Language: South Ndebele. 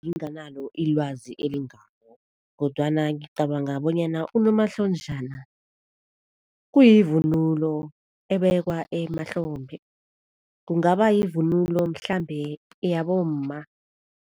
Nginganalo ilwazi elingako kodwana ngicabanga bonyana unomahlonjana kuyivunulo ebekwa emahlombe, kungaba yivunulo mhlambe yabomma.